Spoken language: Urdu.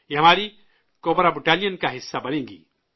یہ ہماری کوبرا بٹالیں کا حصہ بنیں گی